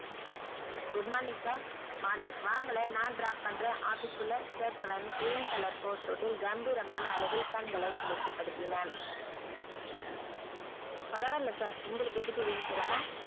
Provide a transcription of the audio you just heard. good morning sirmorning வாங்களேன் நான் drop பண்றன் office குள்ள கேட்டவன் green color coat shoot கம்பீரமான அழகில் கண்களைக் குளுர்ச்சி படுத்தினான் பரவா இல்ல sir உங்களுக்கு எதுக்கு வீண் சிரமம்